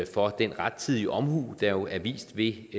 for den rettidige omhu der jo er vist ved